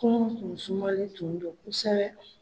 Kungo tun sumalen tun do kosɛbɛ.